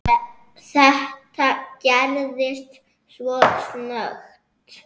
Þetta gerðist svo snöggt.